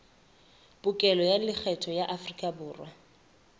pokello ya lekgetho ya aforikaborwa